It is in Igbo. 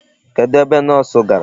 Kedụ ebe Nọọsụ gara?